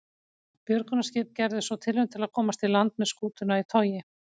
Björgunarskip gerði svo tilraun til að komast í land með skútuna í togi.